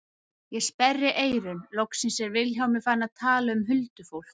Ég sperri eyrun, loksins er Vilhjálmur farinn að tala um huldufólk.